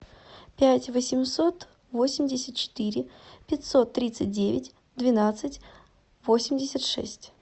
пять восемьсот восемьдесят четыре пятьсот тридцать девять двенадцать восемьдесят шесть